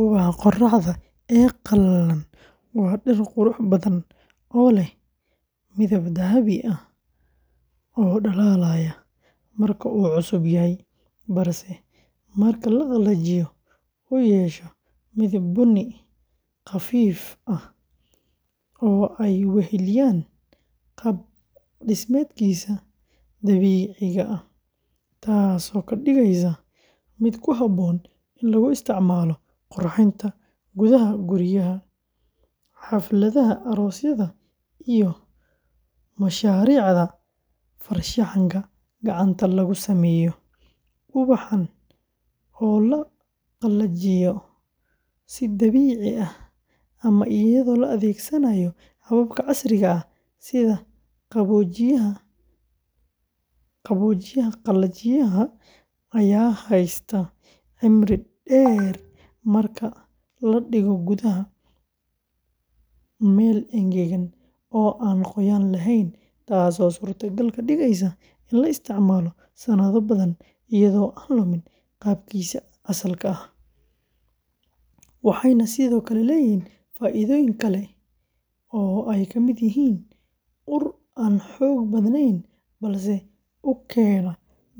Ubaxa qorraxda ee qalalan, waa dhir qurux badan oo leh midab dahabi ah oo dhalaalaya marka uu cusub yahay, balse marka la qalajiyo uu yeesho midab bunni khafiif ah oo ay weheliyaan qaab-dhismeedkiisii dabiiciga ahaa, taasoo ka dhigaysa mid ku habboon in lagu isticmaalo qurxinta gudaha guryaha, xafladaha aroosyada, iyo mashaariicda farshaxanka gacanta lagu sameeyo; ubaxan oo la qalajiyo si dabiici ah ama iyadoo la adeegsanayo hababka casriga ah sida qaboojiyaha qalajiyaha, ayaa haysta cimri dheer marka la dhigo gudaha meel engegan oo aan qoyaan lahayn, taasoo suurtagal ka dhigaysa in la isticmaalo sanado badan iyadoo aan lumin qaabkiisa asalka ah, waxayna sidoo kale leeyihiin faa’iidooyin kale oo ay ka mid yihiin ur aan xoog badanayn balse u keena